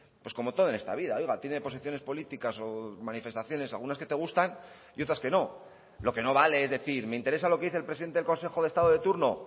pues como todo en esta vida oiga tiene posiciones políticas o manifestaciones algunas que te gustan y otras que no lo que no vale es decir me interesa lo que dice el presidente del consejo de estado de turno